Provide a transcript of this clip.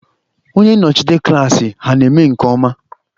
Onye nnọchite klassị ha ana eme nke ọma?